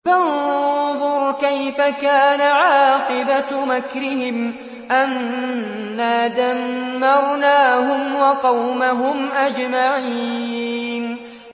فَانظُرْ كَيْفَ كَانَ عَاقِبَةُ مَكْرِهِمْ أَنَّا دَمَّرْنَاهُمْ وَقَوْمَهُمْ أَجْمَعِينَ